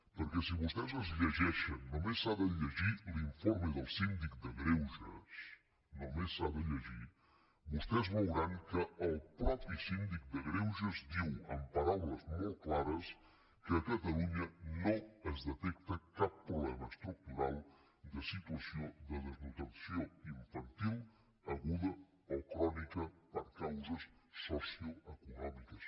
perquè si vostès es llegeixen només s’ha de llegir l’informe del síndic de greuges només s’ha de llegir vostès veuran que el mateix síndic de greuges diu amb paraules molt clares que a catalunya no es detecta cap problema estructural de situació de desnutrició infantil aguda o crònica per causes socioeconòmiques